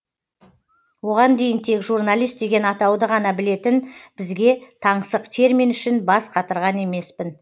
оған дейін тек журналист деген атауды ғана білетін бізге таңсық термин үшін бас қатырған емеспін